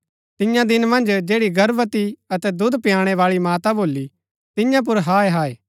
तियां दिन मन्ज जैड़ी गर्भवती अतै दुध पयाणै बाळी माता भोली तियां पुर हाय हाय